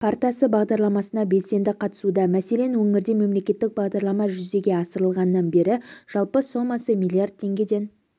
картасы бағдарламасына белсенді қатысуда мәселен өңірде мемлекеттік бағдарлама жүзеге асырылғаннан бері жалпы сомасы миллиард теңгеден